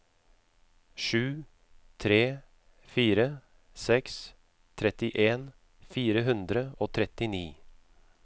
sju tre fire seks trettien fire hundre og trettini